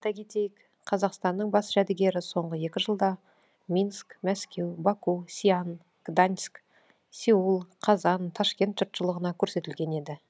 айта кетейік қазақстанның бас жәдігері соңғы екі жылда минск мәскеу баку сиан гданьск сеул қазан ташкент жұртшылығына көрсетілген еді